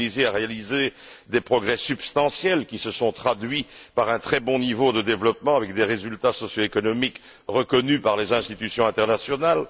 La Tunisie a réalisé des progrès substantiels, qui se sont traduits par un très bon niveau de développement avec des résultats socio économiques reconnus par les institutions internationales.